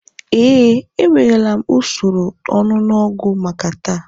Ee, ewerela m usoro onunu ogwu maka taa